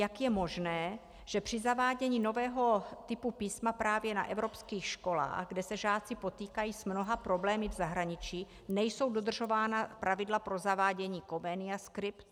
Jak je možné, že při zavádění nového typu písma právě na evropských školách, kde se žáci potýkají s mnoha problémy v zahraničí, nejsou dodržována pravidla pro zavádění Comenia Script?